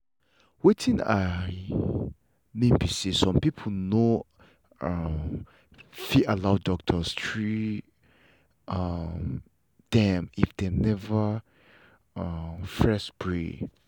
wetin i.mean be say some people no um fit allow doctor trea um them if them never um first pray